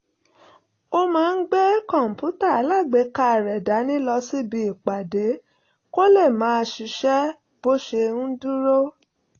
ó máa ń gbé kọ̀ǹpútà alágbèéká rẹ̀ dání lọ síbi ìpàdé kó lè máa ṣiṣẹ́ bó ṣe ń dúró